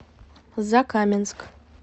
закаменск